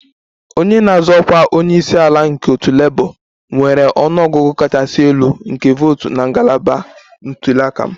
Onye na-azọ ọkwa onye isi ala nke otu Labour nwere ọnụ ọgụgụ kachasị elu nke votu na ngalaba ntuli aka m